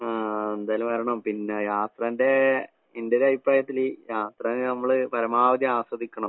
ആഹ് എന്തായാലും വരണം. പിന്നെ യാത്രേന്റെ ഇന്റൊരഭിപ്രായത്തില് യാത്രേനെ നമ്മള് പരമാവധി ആസ്വദിക്കണം.